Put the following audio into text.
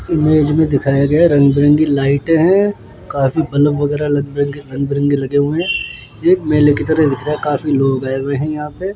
image में दिखाया गया रंग-बिरंगी लाइटें हैं काफी बलब वगैरा रंग-बिरंगे रंग लगे हुए हैं ये मेले की तरह काफी लोग आए हुए हैं यहां पे --